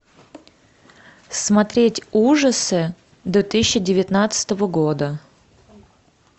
смотреть ужасы две тысячи девятнадцатого года